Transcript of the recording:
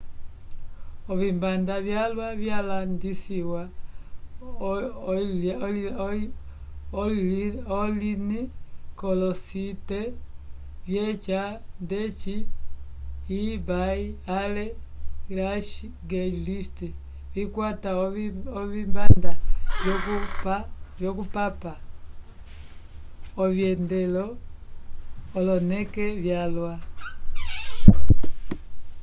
ovikanda vyalwa vyalandisiwa online k'olosite vyeca ndeci ebay ale craigslist vikwata ovikanda vyokupapa ovyendelo oloneke vyalwa